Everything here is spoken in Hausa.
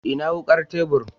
Ina wukar tebur?